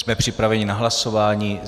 Jsme připraveni na hlasování?